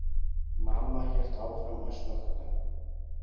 Mamma hélt áfram að snökta.